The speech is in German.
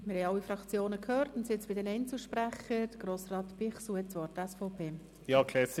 Wir haben alle Fraktionen gehört und sind nun bei den Einzelsprechern angelangt.